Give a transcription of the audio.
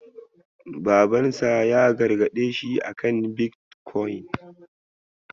Babansa ya gargaɗe shi akan bitkwaun.